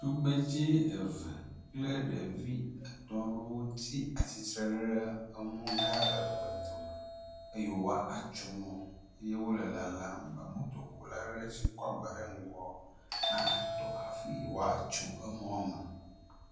Tugbedze eve kple ɖevi etɔ̃ rewo tsi atsitre ɖe emɔ hgã eve dome eye woa atso mɔ ye wole lalam be motokula are si kɔ agba ɖe ŋgɔ natɔ hafi woatso emɔa me.